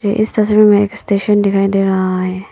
इस तस्वीर में एक स्टेशन दिखाई दे रहा है।